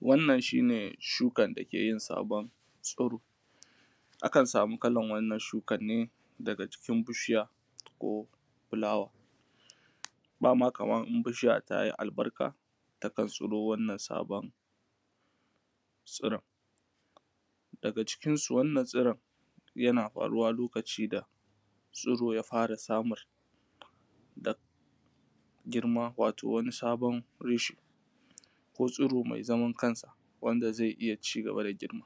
wannan shine shukan dakeyi sabon tsiro akan samu akan kalan wannan shuka ne daga ʤikin bishiya ko fulawa bama kaman bishiya in tayi albarka takan tsiro wannan sabon tsiron daga cikin su wannan tsiron yana faruwa lokacin da tsiro yafara samun girma ko sabon reshe ko tsiro mai zaman kansa wanda zai iyya cigaba da girma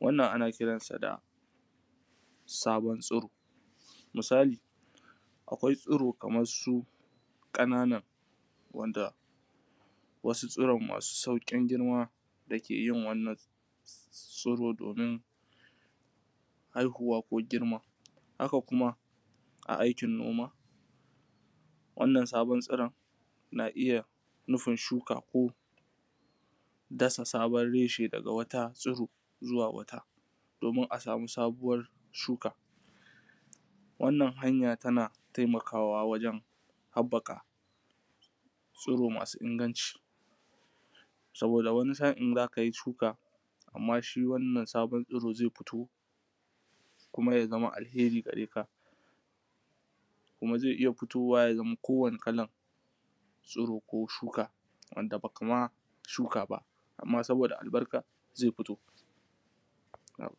wannan a kiransa da sabon tsiro misali akwai tsiro kaman su kanana wasu tsiron masu saukin girma dakeyin wannan tsiro domin haihuwa ko girma haka kuma a aikin noma wannan sabon tsiron na iyya nufin shuka ko dasa sabon reshe daga wata tsiro zuwa wata domin a samun sabuwar shuka wannan hanya tana taimakawa waʤen habbaka tsiro masu inganci saboda wani sa’in zakai shuka sannan shi wannan tsiro ya fito ya zama alheri gareka kuma zai iyya fitowa ya zama ko wani irrin tsiro ko shuka wanda bakama shuka ba amma saboda albarka zai fito